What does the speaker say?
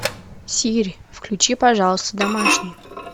сири включи пожалуйста домашний